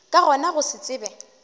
ka gona go se tsebe